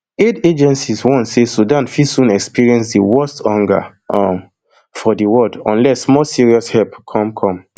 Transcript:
aid agencies warn say sudan fit soon experience di worst hunger um for di world unless more serious help come come